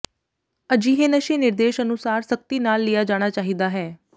ਅਜਿਹੇ ਨਸ਼ੇ ਨਿਰਦੇਸ਼ ਅਨੁਸਾਰ ਸਖਤੀ ਨਾਲ ਲਿਆ ਜਾਣਾ ਚਾਹੀਦਾ ਹੈ